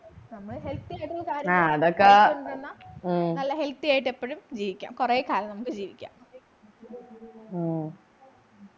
നമ്മളെ healthy ആയിട്ട് കാര്യങ്ങൾ നല്ല healthy യായിട്ട് എപ്പോഴും ജീവിക്കാം കുറേക്കാലം നമുക്ക് ജീവിക്കാ